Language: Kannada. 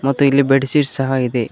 ಮತ್ತು ಇಲ್ಲಿ ಬೆಡ್ ಶೀಟ್ ಸಹ ಇದೆ.